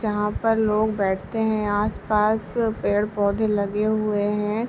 जहाँ पर लोग बैठते हैं। आस पास पेड़-पौधे लगे हुए हैं।